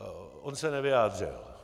On se nevyjádřil.